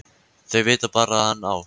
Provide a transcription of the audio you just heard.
Þau vita bara að hann á